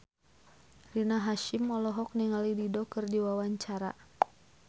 Rina Hasyim olohok ningali Dido keur diwawancara